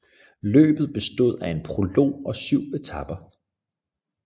Løbet bestod af en prolog og 7 etaper